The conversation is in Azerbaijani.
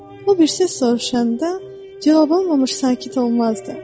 O birisi soruşanda cavab almamış sakit olmazdı.